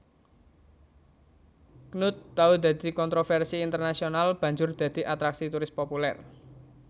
Knut tau dadi kontrovèrsi internasional banjur dadi atraksi turis populèr